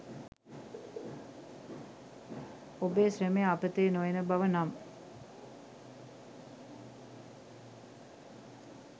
ඔබේ ශ්‍රමය අපතේ නොයන බව නම්